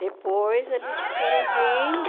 Depois eles foram vindo,